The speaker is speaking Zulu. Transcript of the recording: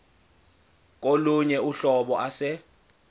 kolunye uhlobo ase